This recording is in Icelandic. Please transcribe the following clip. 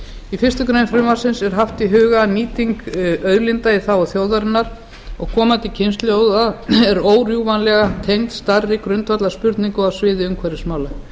í fyrstu grein frumvarpsins er haft í huga að nýting auðlinda í þágu þjóðarinnar og komandi kynslóða er órjúfanlega tengd stærri grundvallarspurningum á sviði umhverfismála